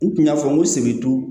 N kun y'a fɔ n ko seki